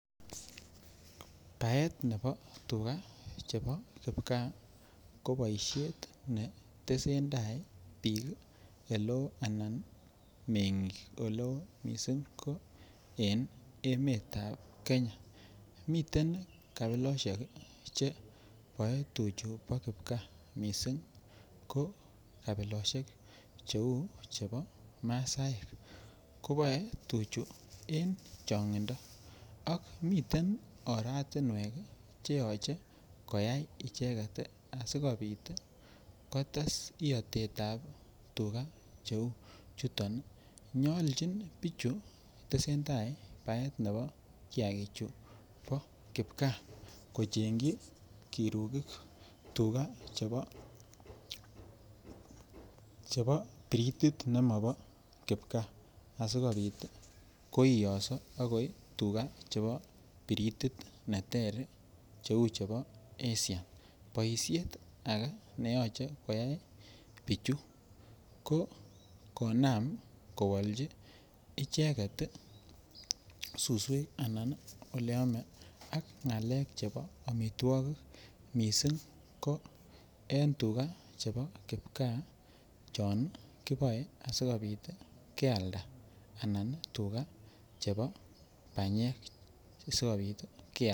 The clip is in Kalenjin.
Baet nebo tukaa chebo kipkaa koboishet ne tesentai biik eleoo anan meng'ik eleoo mising ko en emetab Kenya, miten kabiloshek cheboe tuchu bo kipkaa mising ko kbiloshek cheuu chebo masaek koboe tuchu en chongindo ak miten oratinwek cheyoche koyai icheket asikobit kotes iotetab tukaa cheuu chuton, nyolchin bichu tesentai baet nebo kiakechu bo kipkaa kochengyi kirukik tukaa chebo gredit nemobo kipkaa asikobit koiyoso akoi tukaa chebo gredit neter cheu chebo esia, boishet akee neyoche koyai bichu ko konam kowolchi icheket suswek anan oleome ak ngalek chebo omitwokik mising ko en tukaa chebo kipkaa chon kiboe asikobit kealda anan tukaa chebo bamyek sikobit kealda.